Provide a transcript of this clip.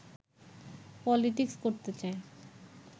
politics করতে চায়